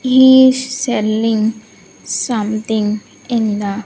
He is selling something in the--